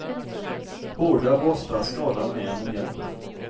Hårda borstar skadar mer än de hjälper.